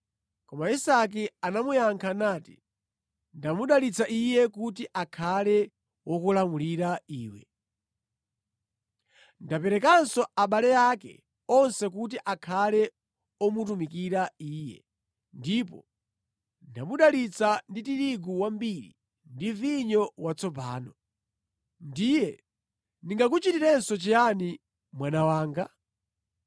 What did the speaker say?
Koma Isake anamuyankha nati, “Ndamudalitsa iye kuti akhale wokulamulira iwe. Ndaperekanso abale ake onse kuti akhale omutumikira iye, ndipo ndamudalitsa ndi tirigu wambiri, ndi vinyo watsopano. Ndiye ndingakuchitirenso chiyani mwana wanga?”